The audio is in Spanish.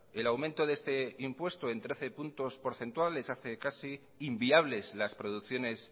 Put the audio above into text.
el aumento de este impuesto en trece puntos porcentuales hace casi inviables las producciones